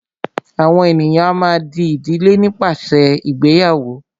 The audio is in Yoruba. àwọn ènìyàn a má a dí ìdílé nípasẹ ìgbéyàwó.